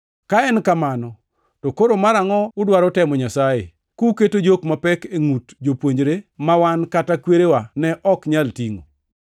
Ka en kamano, to koro marangʼo udwaro temo Nyasaye, kuketo jok mapek e ngʼut jopuonjre ma wan kata kwerewa ne ok nyal tingʼo?